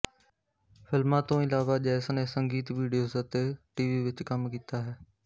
ਫ਼ਿਲਮਾਂ ਤੋਂ ਇਲਾਵਾ ਜੈਸ ਨੇ ਸੰਗੀਤ ਵੀਡੀਓਜ਼ ਅਤੇ ਟੀਵੀ ਵਿੱਚ ਕੰਮ ਕੀਤਾ ਹੈ